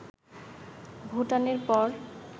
ভুটানের পর